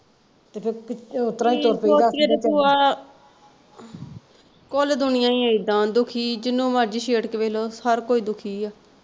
ਤੇ ਫਿਰ ਓਤਰਾਂ ਹੀ ਤੁਰ ਪਈ ਦਾ ਭੂਆ, ਕੁੱਲ ਦੁਨੀਆ ਹੀ ਏਦਾਂ ਦੁਖੀ ਜਿਹਨੂੰ ਮਰਜੀ ਛੇੜ ਕੇ ਵੇਖ ਲੋ ਹਰ ਕੋਈ ਦੁਖੀ ਆ।